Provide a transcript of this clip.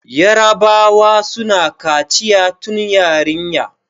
yarabawa suna kaciya tun yarinya